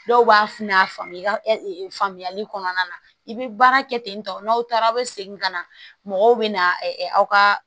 Dɔw b'a f a faamu ka faamuyali kɔnɔna na i bɛ baara kɛ ten tɔ n'aw taara aw bɛ segin ka na mɔgɔw bɛ na aw ka